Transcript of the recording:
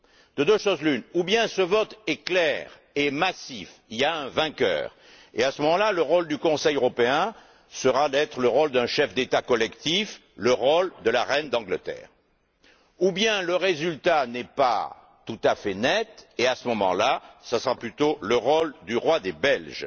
De deux choses l'une, ou bien ce vote est clair et massif et il y a un vainqueur, à ce moment là, le rôle du Conseil européen sera le rôle d'un chef d'État collectif, le rôle de la reine d'Angleterre, ou bien le résultat n'est pas tout à fait net, et, à ce moment là, ce sera plutôt le rôle du roi des Belges.